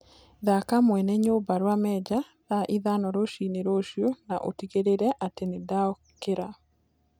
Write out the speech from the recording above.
thaka mwene nyumba rwa mejja thaa ithano rũcĩĩnĩ ruciu na utigirire ati nindokira